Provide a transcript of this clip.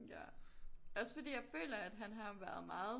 Ja også fordi at jeg føler at han har været meget